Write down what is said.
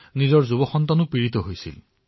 তৰুণ পুত্ৰও আক্ৰান্ত হৈছিল